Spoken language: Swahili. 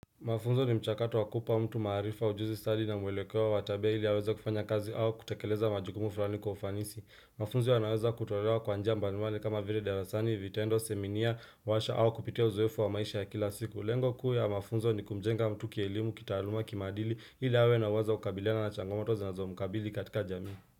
Mafunzo ni mchakato wa kupa mtu maarifa ujuzi, sari na mwelekeo watabea ili yaweza kufanya kazi au kutekeleza majukumu fulani kwa ufanisi. Mafunzo yanaweza kutolewa kwa njia mbanuali kama vile darasani, vitendo, seminia, washa au kupitia uzoefu wa maisha ya kila siku. Lengo kuu ya mafunzo ni kumjenga mtu kielimu, kitaaluma, kimaadili ili awe na uwezo wa kukabiliana na changomoto zinazomkabili katika jamii.